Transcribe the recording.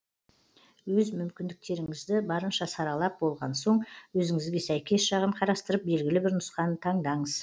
өз мүмкіндіктеріңізді барынша саралап болған соң өзіңізге сәйкес жағын қарастырып белгілі бір нұсқаны таңдаңыз